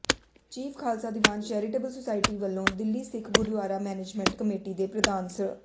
chief Khalsa Diwan charitable society ਵੱਲੋਂ Delhi Sikh Gurdwara management committee ਦੇ ਪ੍ਰਧਾਨ ਸ੍ਰ